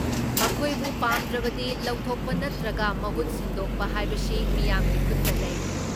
ꯃꯈꯣꯏꯕꯨ ꯄꯥꯝꯗ꯭ꯔꯕꯗꯤ ꯂꯧꯊꯣꯛꯄ ꯅꯠꯇ꯭ꯔꯒ ꯃꯍꯨꯠ ꯁꯤꯟꯗꯣꯛꯄ ꯍꯥꯏꯕꯁꯤ ꯃꯤꯌꯥꯝꯒꯤ ꯈꯨꯠꯇ ꯂꯩ ꯫